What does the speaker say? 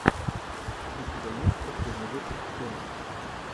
у тебя есть последний выпуск томска